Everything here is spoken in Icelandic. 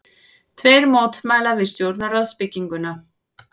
Tveir mótmæla við stjórnarráðsbygginguna